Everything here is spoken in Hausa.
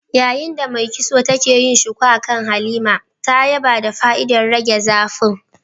Yayin da mai kitson take yin shuku akan Halima, ta yaba da fa'idar rage zafin